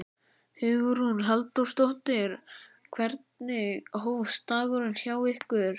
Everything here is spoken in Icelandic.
Hugrún Halldórsdóttir: Hvenær hófst dagurinn hjá ykkur?